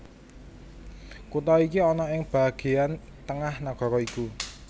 Kutha iki ana ing bagéan tengah nagara iku